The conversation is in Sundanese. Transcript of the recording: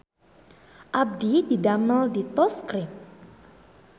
Abdi didamel di Toast Cream